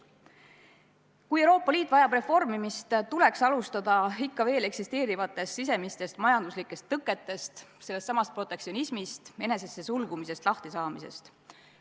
Kui Euroopa Liit vajab reformimist, siis tuleks alustada ikka veel eksisteerivatest sisemistest majanduslikest tõketest, sellestsamast protektsionismist, enesesse sulgumisest lahtisaamisest.